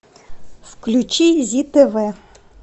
включи зи тв